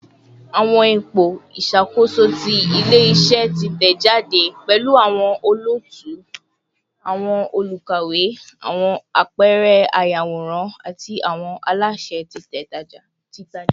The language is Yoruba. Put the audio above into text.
Awọn ipo iṣakoso ti ile-iṣẹ titẹjade pẹlu awọn olootu, awọn olukawewe, awọn apẹẹrẹ ayaworan, ati awọn alaṣẹ titaja